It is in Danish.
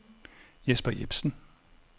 Jesper Jepsen